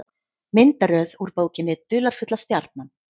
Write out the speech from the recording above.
Myndaröð úr bókinni Dularfulla stjarnan.